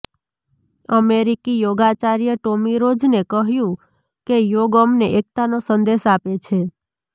અમેરિકી યોગાચાર્ય ટોમી રોજને કહ્યું કે યોગ અમને એકતાનો સંદેશ આપે છે